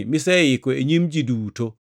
miseiko e nyim ji duto,